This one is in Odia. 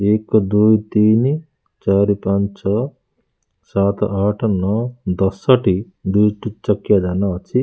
ଏକ ଦୁଇ ତିନି ଚାରି ପାଞ୍ଚ ଛଅ ସାତ ଆଠ ନଅ ଦଶଟି ଦୁଇଟି ଚକିଆ ଯାନ ଅଛି।